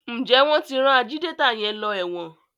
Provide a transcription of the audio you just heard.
Njé wón tí ran Ajídétà yén ló èwòn?